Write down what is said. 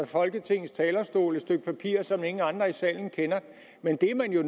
folketingets talerstol et stykke papir som ingen andre i salen kender men det er man jo